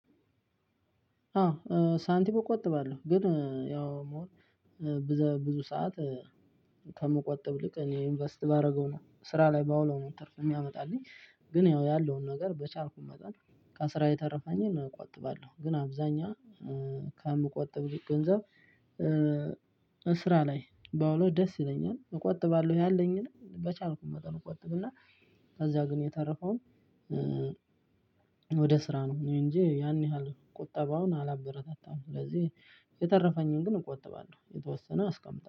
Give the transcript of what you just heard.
አዎ ሳንቲም እቆጥባለሁ ግን ያው ብዘ ብዙ ስዓት ከምቆጥብ ይልቅ እኔ እኢንቨስት ባደርገው ነው ስራ ላይ ባውለው ነው ትርፍ ሚያመጣልኝ። ግን ያው ያለውን ነገር በቻልኩኝ መጠ ከስራ የተረፈኝን እቆጥባለሁ። ግን አብዛኛ ከምቆጥብልኝ ገንዘብ ስራ ላይ ባውለው ደስ ይለኛል። እቆጥባለሁ ያለኝን በቻልኩኝ መጠን እቆጥብና እና ከዚያ ግን የተረፈውን ወደ ስራ ነው እንጂ ያን ያህል ቁጠባውን አላበረታታም። ስለዚህ የተረፈኝን ግን እቆጥባለሁ የተወሰነ አስቀምጠን